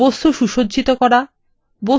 বস্তুগুলি সুসজ্জিত করা